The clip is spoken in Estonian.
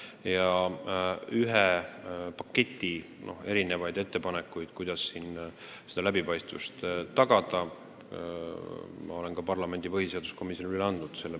Ja ühe paketi ettepanekuid, kuidas seda läbipaistvust tagada, ma olen parlamendi põhiseaduskomisjonile üle andnud.